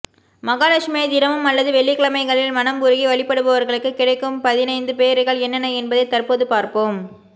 மகாலட்சுமியை தினமும் அல்லது வெள்ளிக்கிழமைகளில் மனம் உருகி வழிபடுபவர்களுக்கு கிடைக்கும்பதினைந்து பேறுகள் என்னென்ன என்பதை தற்போது பார்ப்போம்